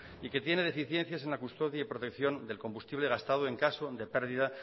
y que tiene deficiencias en la custodia y protección del combustible gastado en caso de pérdida